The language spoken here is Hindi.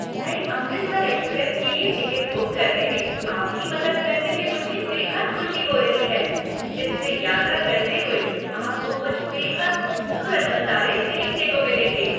नई 'अमृतसर एक्सप्रेस' के लिए टिकट बुक करने में आपकी मदद करने में मुझे बेहद खुशी हो रही है, जिससे यात्रा करते हुए आपको कुछ बेहद खूबसूरत नज़ारे देखने को मिलेंगे।